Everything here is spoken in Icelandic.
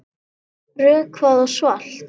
Rökkvað og svalt.